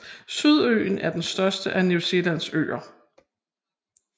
Sydøen er den største af New Zealands øer